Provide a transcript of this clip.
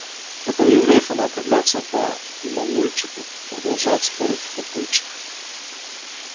это у евреев она определяется по мамульчику продолжает спорить папульчик боже